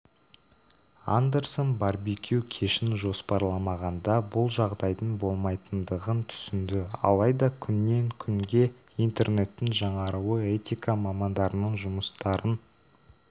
андерсон барбекю кешін жоспарламағанда бұл жағдайдың болмайтындығын түсінді алайда күннен күнге интернеттің жаңаруы этика мамандарының жұмыстарын